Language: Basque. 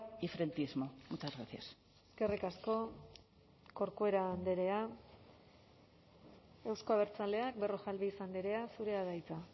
y frentismo muchas gracias eskerrik asko corcuera andrea euzko abertzaleak berrojalbiz andrea zurea da hitza